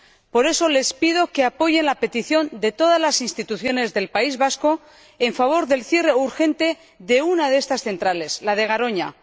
Por eso, les pido que apoyen la petición de todas las instituciones del País Vasco en favor del cierre urgente de una de estas centrales, la de Garoña.